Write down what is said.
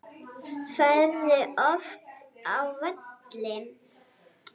Ferðu oft á völlinn?